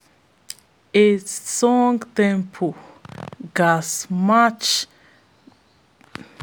a song tempo ghats match de kyn work and energy level